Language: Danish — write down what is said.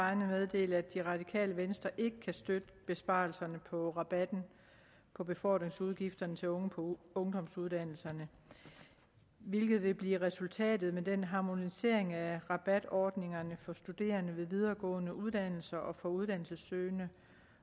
vegne meddele at det radikale venstre ikke kan støtte besparelserne på rabatten på befordringsudgifter til unge på ungdomsuddannelserne hvilket vil blive resultatet af den harmonisering af rabatordningerne for studerende ved videregående uddannelser og for uddannelsessøgende